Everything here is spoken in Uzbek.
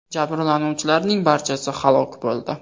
Jabrlanuvchilarning barchasi halok bo‘ldi.